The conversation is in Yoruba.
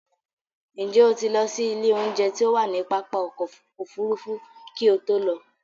Ǹjẹ́ o ti lọ sí ilé oúnjẹ to wá ní pápá ọkọ̀ Òfurufú kí o tó lọ?